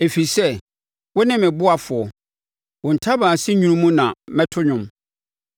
Ɛfiri sɛ, wone ne ɔboafoɔ, wo ntaban ase nwunu mu na mɛto dwom.